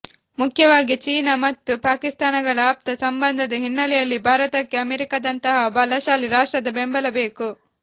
ಮುಖ್ಯವಾಗಿ ಚೀನ ಮತ್ತು ಪಾಕಿಸ್ತಾನಗಳ ಆಪ್ತ ಸಂಬಂಧದ ಹಿನ್ನೆಲೆಯಲ್ಲಿ ಭಾರತಕ್ಕೆ ಅಮೆರಿಕದಂತಹ ಬಲಶಾಲಿ ರಾಷ್ಟ್ರದ ಬೆಂಬಲ ಬೇಕು